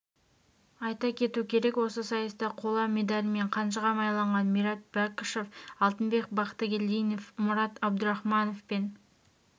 айта кету керек осы сайыста қола медальмен қанжыға майлаған мират бекішев алтынбек бақтыгелдинов мурад абдурахманов пен